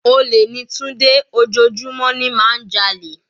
Olè ni Tunde, ojoojúmọ́ ni má ń jalè.